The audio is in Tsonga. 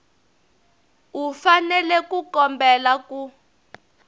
u fanele ku kombela ku